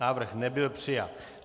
Návrh nebyl přijat.